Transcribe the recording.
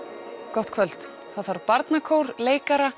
gott kvöld það þarf barnakór leikara